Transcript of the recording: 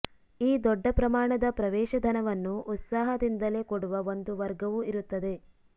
ಈ ದೊಡ್ಡ ಪ್ರಮಾಣದ ಪ್ರವೇಶಧನವನ್ನು ಉತ್ಸಾಹದಿಂದಲೇ ಕೊಡುವ ಒಂದು ವರ್ಗವೂ ಇರುತ್ತದೆ